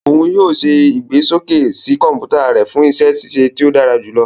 Òún yóò ṣe igbesoke sí kọnputa rẹ fun iṣẹ ṣiṣe to dara julọ.